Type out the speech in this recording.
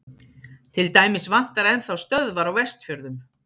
til dæmis vantar enn þá stöðvar á vestfjörðum